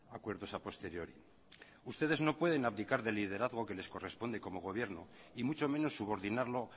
acuerdos a posteriori ustedes no pueden abdicar de liderazgo que les corresponde como gobierno y mucho menos subordinarlo